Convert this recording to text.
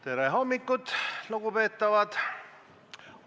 Tere hommikust, lugupeetavad!